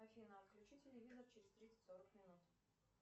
афина отключи телевизор через тридцать сорок минут